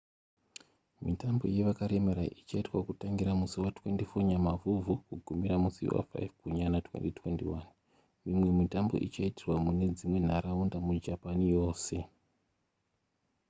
mitambo yevakaremara ichaitwa kutangira musi wa24 nyamavhuvhu kugumira musi wa5 gunyana 2021 mimwe mitambo ichaitirwa mune dzimwe nharaunda mujapan yose